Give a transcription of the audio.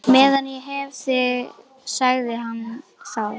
Meðan ég hef þig sagði hann þá.